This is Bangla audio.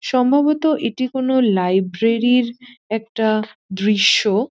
সম্ভবত এটি কোন লাইব্রেরি -র একটা দৃশ্য।